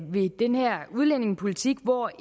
ved den her udlændingepolitik når